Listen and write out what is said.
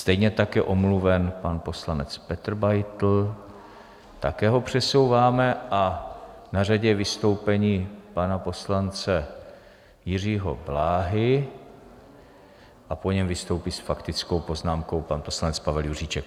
Stejně tak je omluven pan poslanec Petr Beitl, také ho přesouváme, a na řadě je vystoupení pana poslance Jiřího Bláhy a po něm vystoupí s faktickou poznámkou pan poslanec Pavel Juříček.